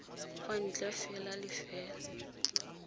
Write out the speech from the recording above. kwa ntle fela le fa